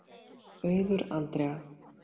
Auður Andrea.